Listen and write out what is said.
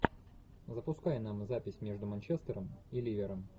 запускай нам запись между манчестером и ливером